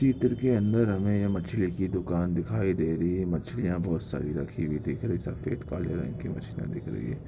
तीतर के अंदर हमें यह मछली की दुकान दिखाई दे रही हैं मछलिया बहुत सारी रखी हुई दिख रही हैं। सफेद काले रंग की मछलिया दिख रही हैं।